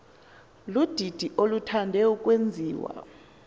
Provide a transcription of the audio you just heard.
ludidi oluthande ukwenziwa